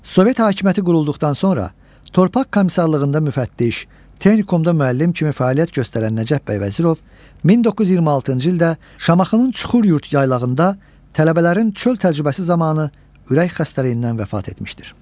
Sovet hakimiyyəti qurulduqdan sonra torpaq komisarlığında müfəttiş, texnikumda müəllim kimi fəaliyyət göstərən Nəcəf bəy Vəzirov 1926-cı ildə Şamaxının Çuxuryurd yaylağında tələbələrin çöl təcrübəsi zamanı ürək xəstəliyindən vəfat etmişdir.